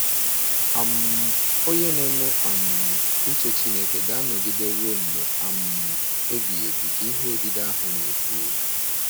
um “Onye na-eme um uche Chineke ga-anọgide ruo mgbe um ebighị ebi,” ka ihe odide ahụ na-ekwu.